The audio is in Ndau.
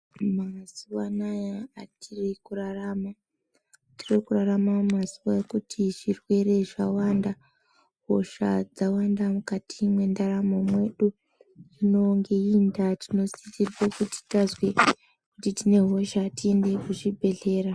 Mazuwanaya atiri kurarama tiri kurarama mumazuwa ekuti zvirwere zvawanda, hosha dzawanda mukati mwendaramo mwedu. Hino ngeiyi ndaa tinosisirwe kuti tazwe kuti tine hosha tiende kuzvibhedhlera.